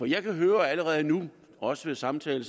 jeg kan høre allerede nu også ved samtale